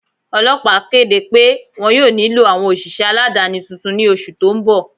Ọlọpà kede pẹ wọn yọ̀ọ̀ nilọ awọn oṣiṣẹ aládani tuntun ni oṣù tó n bọ̀.